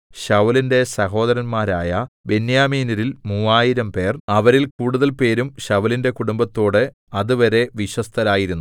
ശൌലിന്റെ സഹോദരന്മാരായ ബെന്യാമീന്യരിൽ മൂവായിരംപേർ അവരിൽ കൂടുതൽ പേരും ശൌലിന്റെ കുടുംബത്തോട് അതുവരെ വിശ്വസ്തരായിരുന്നു